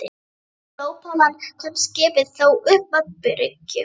Fyrir glópalán komst skipið þó upp að bryggju.